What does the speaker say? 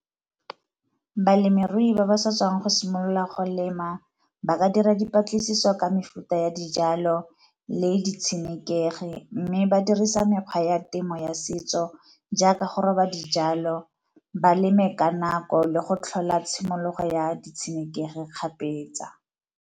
Balemirui ba ba sa tswang go simolola go lema ba ka dira dipatlisiso ka mefuta ya dijalo le di tshenekegi, mme ba dirisa mekgwa ya temo ya setso jaaka go roba dijalo ba leme ka nako le go tlhola tshimologo ya di tshenekegi kgapetsa.